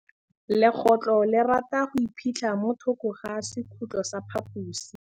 Legôtlô le rata go iphitlha mo thokô ga sekhutlo sa phaposi.